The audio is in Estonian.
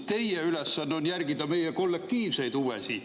Teie ülesanne on järgida meie kollektiivseid huve siin.